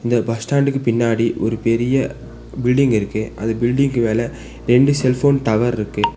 இந்த bus stand க்கு பின்னாடி ஒரு பெரிய பில்டிங் இருக்கு அது பில்டிங் கு மேல ரெண்டு செல் போன் டவர் ருக்கு.